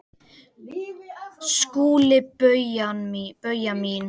SKÚLI: Bauja mín!